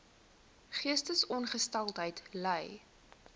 geestesongesteldheid ly